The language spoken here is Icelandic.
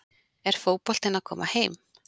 Er fótboltinn að koma heim?